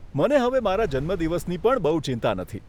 મને હવે મારા જન્મદિવસની પણ બહુ ચિંતા નથી.